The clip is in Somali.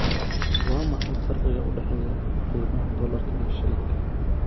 Waa maxay farqiga u dhexeeya qiimaha dollarka iyo shilinka?